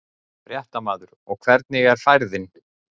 Fréttamaður: Og hvernig er færið?